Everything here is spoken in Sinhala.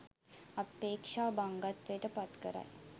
අපේක්ෂා භංගත්වයට පත්කරයි.